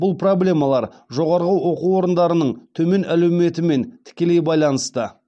бұл проблемалар жоғарғы оқу орындарының төмен әлеуметімен тікелей байланысты